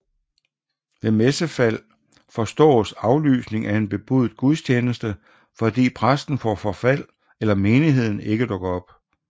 Ved messefald forstås aflysning af en bebudet gudstjeneste fordi præsten får forfald eller menigheden ikke dukker op